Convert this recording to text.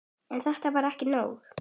En þetta var ekki nóg.